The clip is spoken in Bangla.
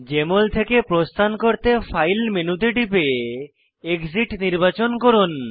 জেএমএল থেকে প্রস্থান করতে ফাইল মেনুতে টিপে এক্সিট নির্বাচন করুন